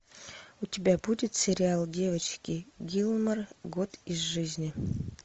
у тебя будет сериал девочки гилмор год из жизни